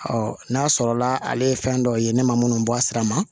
n'a sɔrɔla ale ye fɛn dɔ ye ne ma minnu bɔ a sira ma